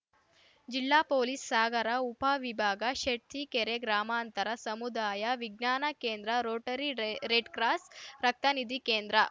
ಜಿಲ್ಲಾ ಪೊಲೀಸ್‌ ಸಾಗರ ಉಪ ವಿಭಾಗ ಶೆಡ್ತಿಕೆರೆ ಗ್ರಾಮಾಂತರ ಸಮುದಾಯ ವಿಜ್ಞಾನ ಕೇಂದ್ರ ರೋಟರಿ ರೆ ರೆಡ್‌ಕ್ರಾಸ್‌ ರಕ್ತನಿಧಿ ಕೇಂದ್ರ